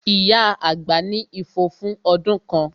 Ìyá àgbà ní ifo fún ọdún kan